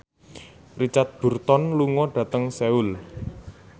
Richard Burton lunga dhateng Seoul